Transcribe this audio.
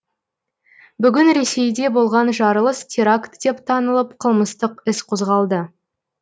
бүгін ресейде болған жарылыс теракт деп танылып қылмыстық іс қозғалды